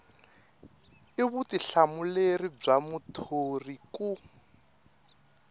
i vutihlamuleri bya muthori ku